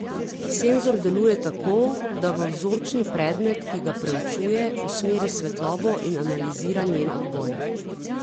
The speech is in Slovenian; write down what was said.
Senzor deluje tako, da v vzorčni predmet, ki ga preučuje, usmeri svetlobo in analizira njen odboj.